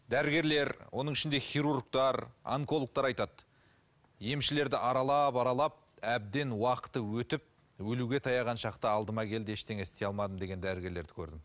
дәрігерлер оның ішінде хирургтер онкологтар айтады емшілерді аралап аралап әбден уақыты өтіп өлуге таяған шақта алдыма келді ештеңе істей алмадым деген дәрігерлерді көрдім